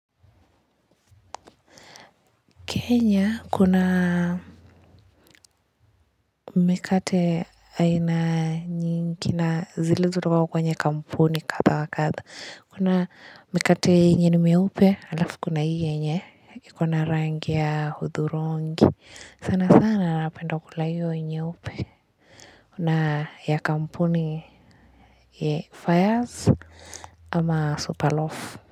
Kenya kuna mikate aina nyingi na zilizotoka kwenye kampuni katha wa katha. Kuna mikate yenye ni meupe, alafu kuna hii yenye, ikona rangi ya hudhurungi, sana sana napenda kula hiyo nyeupe. Na ya kampuni ya fires ama superloaf.